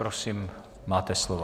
Prosím, máte slovo.